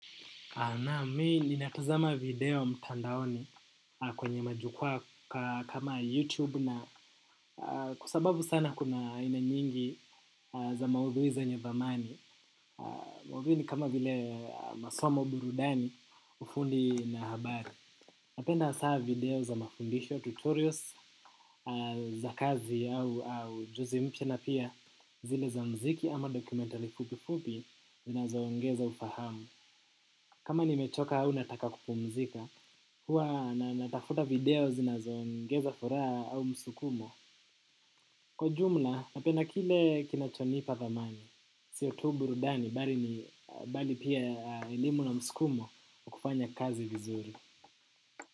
Naam, mii ninatuaama video mtandaoni kwenye majukwaa kama youtube na kwa sababu sana kuna aina nyingi za maudhui zenye dhamani maudhui ni kama vile masomo, burudani, ufundi na habari. Napenda saa video za mafundisho tutorials za kazi au ujuzi mpya na pia zile za muziki ama dokumentari fupi fupi zinazoongeza ufahamu. Kama nimechoka au nataka kupumzika. Huwa na natafuta video zinazoongeza furaha au msukumo. Kwa jumla napenda kile kinachonipa dhamani. Sio tu burudani bali ni bali pia elimu na msukumo wa kufanya kazi vizuri.